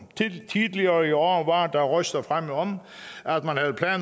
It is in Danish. tidligere i år var der røster fremme om